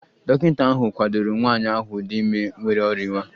Dọkịta ahụ kwadoro nwanyị ahụ dị ime nwere orinwa